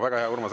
Väga hea!